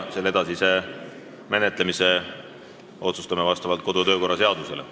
Selle edasise menetlemise otsustame vastavalt kodu- ja töökorra seadusele.